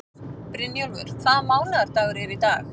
Brynjólfur, hvaða mánaðardagur er í dag?